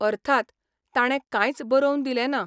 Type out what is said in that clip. अर्थात, ताणें कांयच बरोवन दिलें ना.